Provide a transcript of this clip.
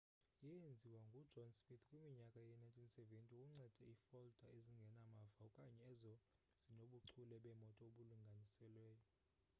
yeenziwa ngujohn smith kwiminyaka yee-1970 ukunceda iifolda ezingenamava okanye ezo zinobuchule bemoto obulinganiselweyo